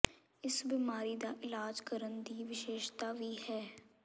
ਇਸ ਬਿਮਾਰੀ ਦਾ ਇਲਾਜ ਕਰਨ ਦੀ ਵਿਸ਼ੇਸ਼ਤਾ ਵੀ ਹੈ